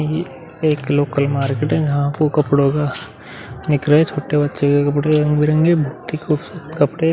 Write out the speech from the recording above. ये एक local market है। यहाँ आपको कपड़ो का निकर है। छोटे बच्चे के कपड़े रंग-बिरंगे खुबसूरत कपड़े --